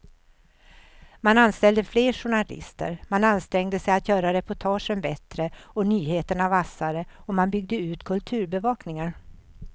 Man anställde fler journalister, man ansträngde sig att göra reportagen bättre och nyheterna vassare och man byggde ut kulturbevakningen.